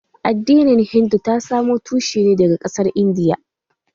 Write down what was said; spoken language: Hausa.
Addinin hindu ta samo tushen ta daga ƙasar Indiya